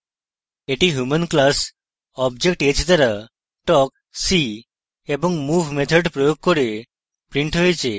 এটি human class object h দ্বারা talk see এবং move methods প্রয়োগ করে printed হয়েছে